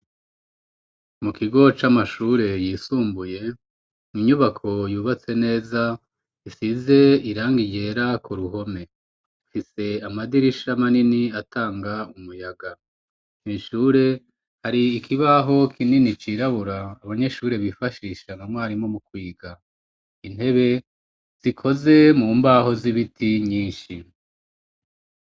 Mu kigo c'amashure yisumbuye inyubako yubatse neza isize irangi ryera ku ruhome ifise amadirisha manini atanga umuyaga, kwishure hari ikibaho kinini cirabura abanyeshure bifashisha na mwarimu mu kwiga, intebe zikoze mu mbaho z'ibiti nyinshi.